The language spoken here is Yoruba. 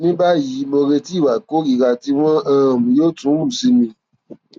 ní báyìí mò ń retí ìwà ìkórìíra tí wọn um yóò tún hù sí mi